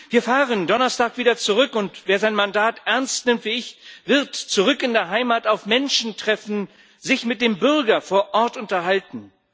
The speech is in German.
Wir fahren Donnerstag wieder zurück, und wer sein Mandat ernst nimmt wie ich, wird zurück in der Heimat auf Menschen treffen, sich mit dem Bürger vor Ort unterhalten.